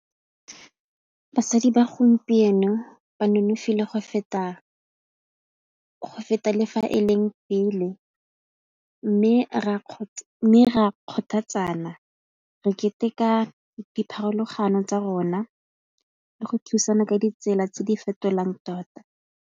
Basadi ba gompieno ba nonofile go feta le fa e leng pele mme re a kgothatsana re keteka dipharologano tsa rona le go thusana ka ditsela tse di fetolang tota.